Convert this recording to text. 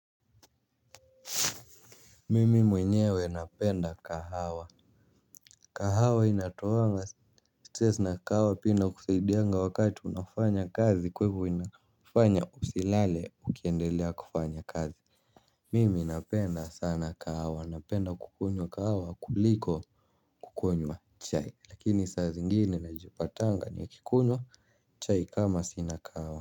Mimi mwenyewe napenda kahawa kawaha inatoanga stess na kahawa pia inakusaidianga wakati unafanya kazi kwa hivyo inafanya usilale ukiendelea kufanya kazi. Mimi napenda sana kahawa napenda kukunywa kahawa kuliko kukunywa chai lakini saa zingine najipatanga nikikunywa chai kama sina kahawa.